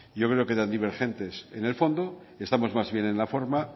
yo creo que tan divergentes en el fondo que estamos más en la forma